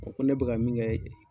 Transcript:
ko ne bɛka ka min kɛ